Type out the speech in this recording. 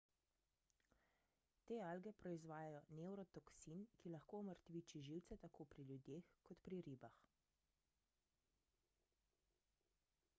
te alge proizvajajo nevrotoksin ki lahko omrtviči živce tako pri ljudeh kot pri ribah